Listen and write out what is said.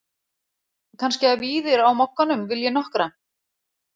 Kannski að Víðir á Mogganum vilji nokkra?